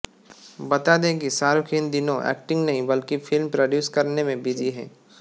बता दें कि शाहरुख इन दिनों एक्टिंग नहीं बल्कि फिल्म प्रोड्यूस करने में बिजी हैं